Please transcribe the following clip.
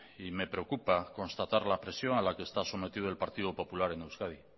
y me preocupa constatar la presión a la que está sometido el partido popular en euskadi